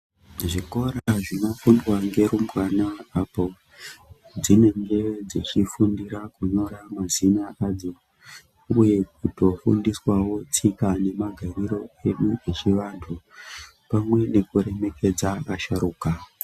Zvikora zvinofundwa ngerumbwana apo dzinenge dzechifundira kunyora mazina adzo uye kutofundiswawo tsika nemagariro edu echivanthu pamwe nekuremekedza vasharuka.